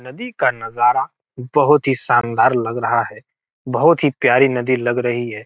नदी का नजारा बहुत ही शानदार लग रहा है बहुत ही प्यारी नदी लग रही है।